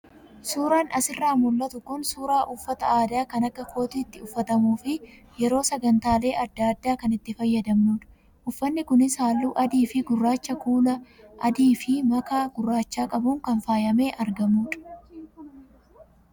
Suuraan asirraa mul'atu kun suuraa uffata aadaa kan akka kootiitti uffatamuu fi yeroo sagantaalee adda addaa kan itti fayyadmnudha. Uffanni kunis halluu adii fi gurraacha kuula adii fi makaa gurraacha qabuun kan faayamee argamudha.